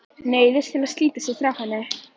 Neyðist til að slíta sig frá henni.